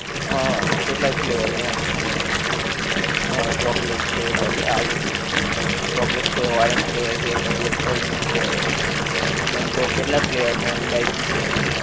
હા કેટલાક flavor માં આમ હા chocolate છે બધાં આવી જાએ chocolate છે orange flavor પછી apple નો છે mango કેટલાં flavor માં હોએ ઈલાયચી છે